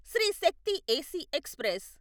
Shri Shakti AC express